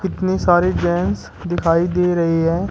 इतनी सारी जेंट्स दिखाई दे रही है।